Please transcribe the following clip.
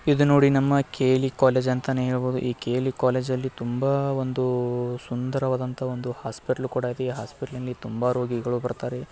ಇದು ನೋಡಿ ನಮ್ಮ ಕೇ.ಎಲ್.ಈ ಕಾಲೇಜ್ ಅಂತಾನೆ ಹೇಳ್ಬೋದು ಈ ಕೇ.ಎಲ್.ಈ ಕಾಲೇಜ್ ಅಲ್ಲಿ ತುಂಬಾ ಅಹ್ ಒಂದು ಉಹ್ ಸುಂದರವಾದಂತಹ ಒಂದು ಹೋಸ್ಪಿಟ್ಲು ಕೂಡ ಇದೆ ಈ ಹೋಸ್ಪಿಟ್ಲಿಗೆ ತುಂಬಾ ರೋಗಿಗಳ್ ಬರ್ತಾರೆ.